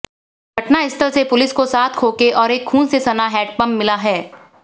घटनास्थल से पुलिस को सात खोखे और एक खून से सना हैंडपंप मिला है